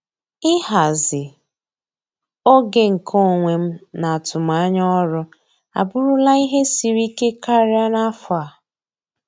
Ịhazi oge nke onwe m na atụmanya ọrụ abụrụla ihe siri ike karịa n'afọ a.